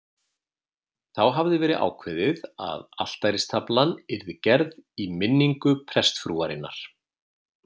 Þá hafði verið ákveðið að altaristaflan yrði gerð í minningu prestsfrúarinnar